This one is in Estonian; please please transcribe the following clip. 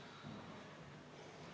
Ja seesama õpetaja saab 6400 eurot trahvi!